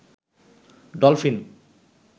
dolphin